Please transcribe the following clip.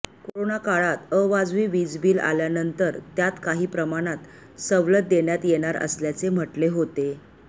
कोरोनाकाळात अवाजवी वीजबिल आल्यानंतर त्यात काही प्रमाणात सवलत देण्यात येणार असल्याचे म्हटले होते